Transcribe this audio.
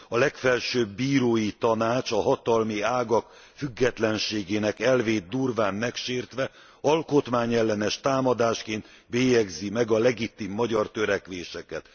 A Legfelsőbb Bírói Tanács a hatalmi ágak függetlenségének elvét durván megsértve, alkotmányellenes támadásként bélyegzi meg a legitim magyar törekvéseket.